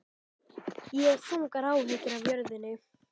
Ég hef þungar áhyggjur af jörðinni.